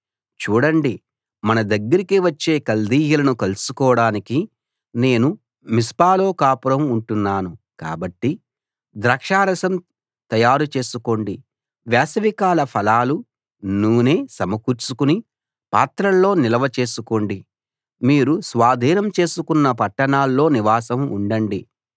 చూడండి మన దగ్గరికి వచ్చే కల్దీయులను కలుసుకోడానికి నేను మిస్పాలో కాపురం ఉంటున్నాను కాబట్టి ద్రాక్షారసం తయారుచేసుకోండి వేసవికాల ఫలాలు నూనె సమకూర్చుకుని పాత్రల్లో నిల్వ చేసుకోండి మీరు స్వాధీనం చేసుకున్న పట్టణాల్లో నివాసం ఉండండి